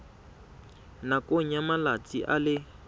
nakong ya malatsi a le